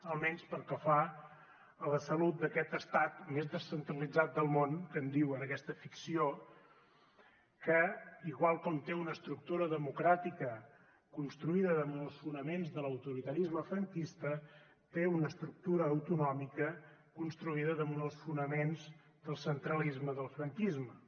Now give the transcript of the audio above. almenys pel que fa a la salut d’aquest estat més descentralitzat del món que en diuen aquesta ficció que igual com té una estructura democràtica construïda damunt els fonaments de l’autoritarisme franquista té una estructura autonòmica construïda damunt els fonaments del centralisme del franquisme